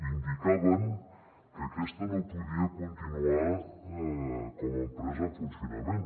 indicaven que aquesta no podia continuar com a empresa en funcionament